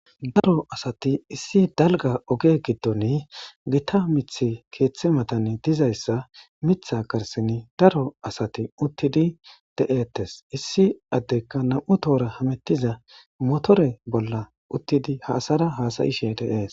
daro asati issi dalga oge giddon gita mith keeththi matane dizayssa mitha karsin daro asati uttidi de7ettes issi addekka nam7u toora hamettiza motore bolla uttidi ha asara hasayishe de7ees